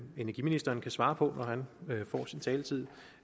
energiministeren kan svare på når han får sin taletid